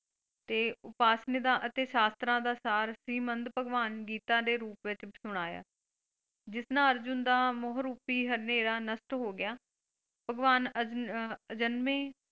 ਤੇ ਉਪਾਸ਼ਨੀਦਾ ਅਤੇ ਸ਼ਾਸਤਰਾਂ ਦਾ ਸਾਰ ਸੀ, ਮੰਦ ਭਗਵਾਨ ਗੀਤਾਂ ਦੇ ਰੂਪ ਵਿੱਚ ਸੁਣਾਇਆ ਜਿਸ ਨਾਲ ਅਰਜੁਨ ਦਾ ਮੋਹ ਰੂਪੀ ਹਨੇਰਾ ਨਸ਼ਟ ਹੋਗਿਆ ਭਗਵਾਨ ਅਹ ਅਜਨਮੇ,